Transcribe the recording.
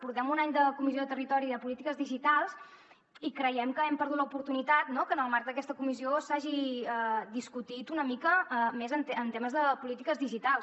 portem un any de la comissió de territori i de polítiques digitals i creiem que hem perdut l’oportunitat no que en el marc d’aquesta comissió s’hagi discutit una mica més en temes de polítiques digitals